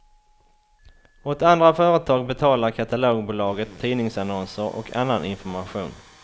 Åt andra företag betalar katalogbolaget tidningsannonser och annan information.